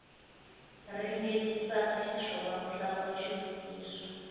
ringetisaka xiswona ku hlamula xivutiso